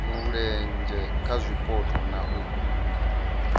mulenzhe kha zwipotso na u